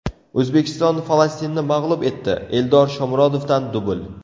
O‘zbekiston Falastinni mag‘lub etdi, Eldor Shomurodovdan dubl .